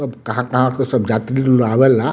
सब कहाँ-कहाँ से सब यात्री लोग आवेला।